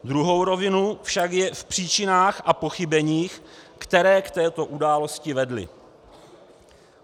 Druhá rovina však je v příčinách a pochybeních, které k této události vedly.